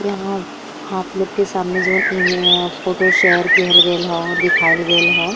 यहाँ आप लोग के सामने जवन इ मे अ फोटो शेयर करल गएल ह दिखावल गएल ह।